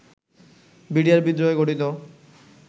BDR বিদ্রোহে গঠিত